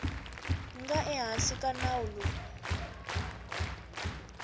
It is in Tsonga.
nga ehansi ka nawu lowu